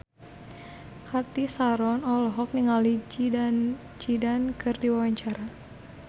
Cathy Sharon olohok ningali Zidane Zidane keur diwawancara